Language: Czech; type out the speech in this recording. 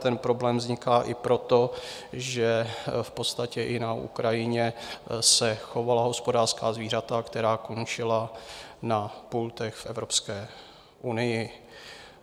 Ten problém vzniká i proto, že v podstatě i na Ukrajině se chovala hospodářská zvířata, která končila na pultech v Evropské unii.